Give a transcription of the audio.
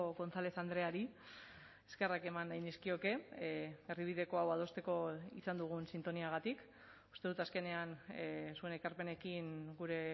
gonzález andreari eskerrak eman nahi nizkioke erdibideko hau adosteko izan dugun sintoniagatik uste dut azkenean zuen ekarpenekin gure